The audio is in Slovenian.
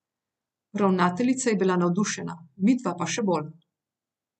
Ravnateljica je bila navdušena, midva pa še bolj.